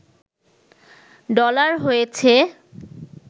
dollar হয়েছে